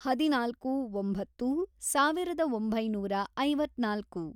ಹದಿನಾಲ್ಕು, ಒಂಬತ್ತು, ಸಾವಿರದ ಒಂಬೈನೂರ ಐವತ್ನಾಲ್ಕು